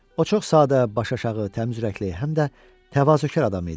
O çox sadə, başıaşağı, təmizürəkli, həm də təvazökar adam idi.